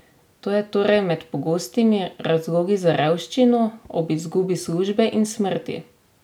To je torej med pogostimi razlogi za revščino, ob izgubi službe in smrti?